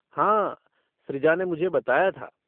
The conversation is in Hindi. हाँ, सृजा ने मुझे बताया था।